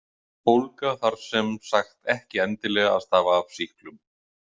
Bólga þarf sem sagt ekki endilega að stafa af sýklum.